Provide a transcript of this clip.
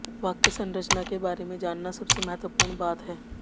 वाक्य संरचना के बारे में जानना सबसे महत्वपूर्ण बात है